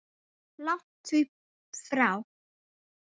Langt því frá.